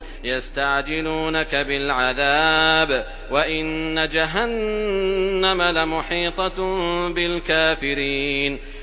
يَسْتَعْجِلُونَكَ بِالْعَذَابِ وَإِنَّ جَهَنَّمَ لَمُحِيطَةٌ بِالْكَافِرِينَ